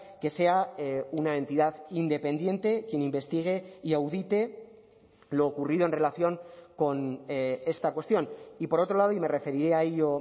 que sea una entidad independiente quien investigue y audite lo ocurrido en relación con esta cuestión y por otro lado y me referiré a ello